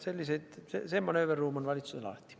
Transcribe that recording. Selline manööverruum on valitsusel alati.